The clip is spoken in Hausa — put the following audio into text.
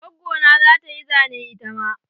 Gwaggo na zata yi zane itama.